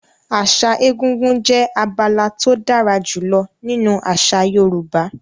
Àṣà egúngún jẹ́ abala tó dára jùlọ nínú àṣà Yorùbá.